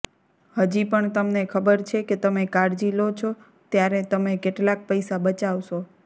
હજી પણ તમને ખબર છે કે તમે કાળજી લો છો ત્યારે તમે કેટલાક પૈસા બચાવશો